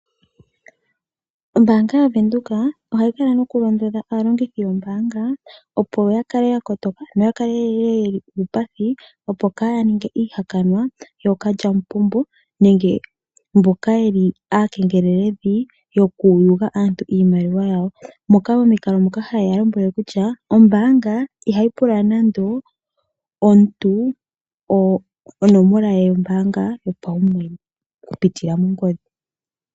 Ombaanga ya Venduka ohayi kala noku londodha aalongithi yombaanga opo ya kale ya kotoka ,no ya kale yeli uupathi opo kaa ya ninge iihakanwa yookalyamupombo nenge mboka yeli aakengeleledhi yoku yuga aantu iimaliwa yawo moka momikalo dhoka ha yeya lombwele kutya ombaanga ihayi pula nando omuntu onomola ye yombaanga yopaumwene oku pitila mongodhi .